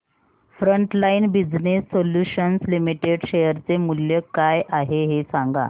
frontline business solutions limited share चे मूल्य काय आहे हे सांगा